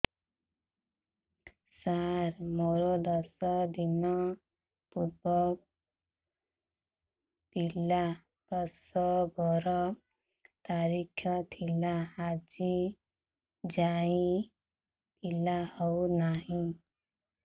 ସାର ମୋର ଦଶ ଦିନ ପୂର୍ବ ପିଲା ପ୍ରସଵ ର ତାରିଖ ଥିଲା ଆଜି ଯାଇଁ ପିଲା ହଉ ନାହିଁ